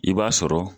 I b'a sɔrɔ